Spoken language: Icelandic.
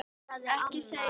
Ekki segja svona, mamma.